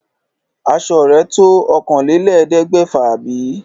Aṣo rẹ̀ tó òkànlélẹ̀ẹ́dẹ́gbèfà bí?